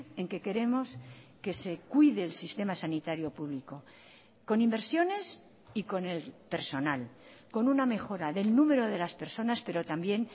en que queremos que se cuide el sistema sanitario público con inversiones y con el personal con una mejora del número de las personas pero también